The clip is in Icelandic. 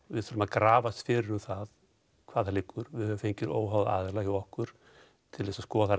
við þurfum að grafast fyrir um það hvar það liggur við höfum fengið óháða aðila hjá okkur til þess að skoða